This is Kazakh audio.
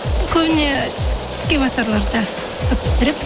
көбіне тіске басарларды көп пісіремін